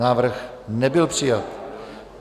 Návrh nebyl přijat.